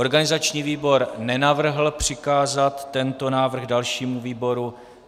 Organizační výbor nenavrhl přikázat tento návrh dalšímu výboru.